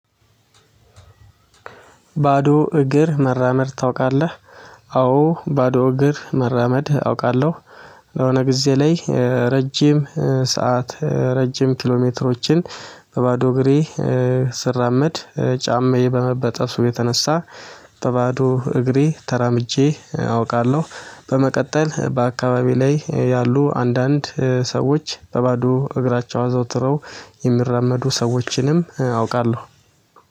ባዶ እግር መራመድ ታውቃለህ? አዎ ባዶ እግር መራመድ አውቃለሁ። የሆነ ጊዜ ላይ ረጅም ሰዓት ረጅም ኪሎ ሜትሮችን በባዶ እግሬ ስራመድ ጫማዬ በመበጠሱ የተነሳ በባዶ እግሬ ተራምጄ አውቃለሁ። በመቀጠል በአካባቢ ላይ ያሉ አንዳንድ ሰዎች በባዶ እግራቸው አዘውትረው የሚራመዱ ሰዎችንም አውቃለሁ።